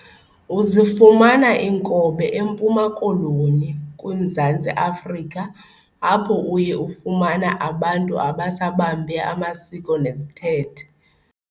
Uzifumana inkobe eMpuma nkoloni kwi Mzantsi Afrika apho uye ufumana abantu abasabambe amasiko nezithethe.